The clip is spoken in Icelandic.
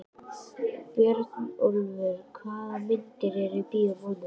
Björnólfur, hvaða myndir eru í bíó á mánudaginn?